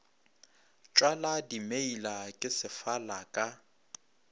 tšwala dimeila ke sefala ka